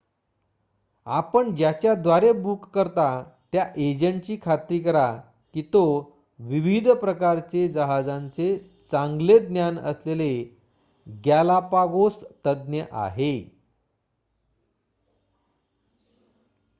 आपण ज्याच्याद्वारे बुक करता त्या एजंटची खात्री करा की तो विविध प्रकारचे जहाजांचे चांगले ज्ञान असलेले गॅलापागोस तज्ञ आहे